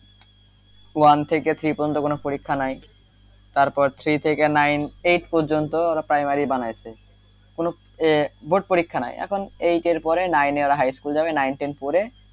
one থেকে three পর্যন্ত কোনো পরীক্ষা নাই তারপর three থেকে nine eight পর্যন্ত ওরা primary বানাইসে কোনো board পরীক্ষা নাই এখন eight পরে ওরা nine হাই স্কুল যাবে nine ten পরে,